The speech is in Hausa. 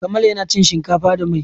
Kamal yana cin shinkafa da mai.